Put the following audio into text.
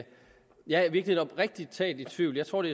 jeg er i virkeligheden oprigtig talt i tvivl jeg tror det